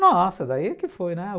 Nossa, daí que foi, né?